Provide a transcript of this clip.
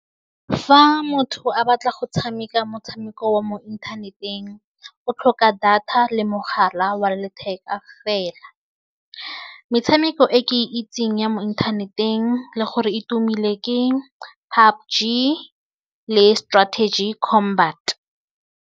Fa motho a batla go tshameka motshameko wa mo inthaneteng o tlhoka data le mogala wa letheka fela metshameko e ke itseng ya mo inthaneteng le gore e tumile ke PUBG le strategy combat.